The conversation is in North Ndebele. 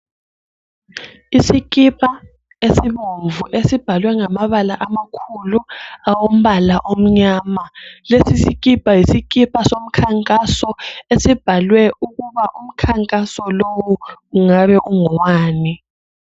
Isikipa esibomvu esibhalwe ngamabala amakhulu alombala omnyama. Lesi sikipa yisikipa somkhankaso esibhalwe ukuba umkhankaso lowu ungabe ungowani.